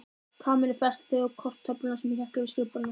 Kamilla festi þau á korktöfluna sem hékk yfir skrifborðinu hennar.